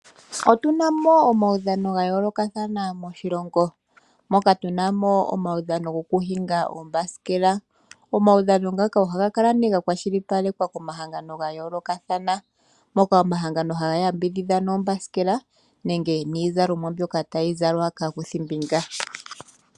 Otuna omaudhano gayoolokathana moshilongo moka tuna mo omaudhano gokuhinga uuthanguthangu. Omaudhano ngaka ohaga kala nee gakwashilipalekwa komahangano gayoolokathana ngoka haga yambidhidha mboka haya hingi uuthanguthangu.